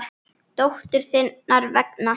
Dóttur þinnar vegna.